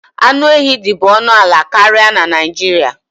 Anụ ehi dị bu ọnụ ala karịa na Naịjirịa.